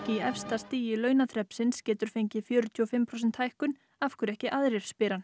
í efsta stigi launaþrepsins getur fengið fjörutíu og fimm prósent hækkun af hverju ekki aðrir spyr hann